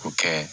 K'o kɛ